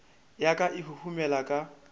ya ka e huhumela ka